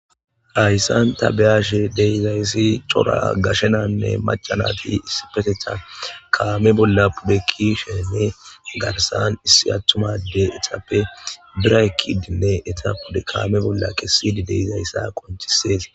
Hayssan ta beyaashe deyizayssi cora gashenanne macanati issipeteta kaame bolla pudekki sheene garsan issi attumade etappe biraykidinne eta pude kaame bolla kessidi deizayssa qontisees.